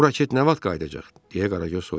Bu raket nə vaxt qayıdacaq deyə Qaragöz soruşdu.